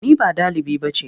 Ni ba ɗaliba ba ce.